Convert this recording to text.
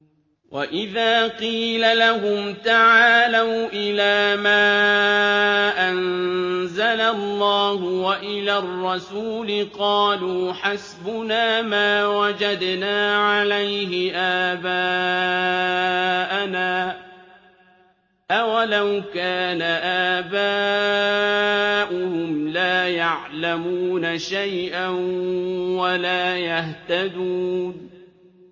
وَإِذَا قِيلَ لَهُمْ تَعَالَوْا إِلَىٰ مَا أَنزَلَ اللَّهُ وَإِلَى الرَّسُولِ قَالُوا حَسْبُنَا مَا وَجَدْنَا عَلَيْهِ آبَاءَنَا ۚ أَوَلَوْ كَانَ آبَاؤُهُمْ لَا يَعْلَمُونَ شَيْئًا وَلَا يَهْتَدُونَ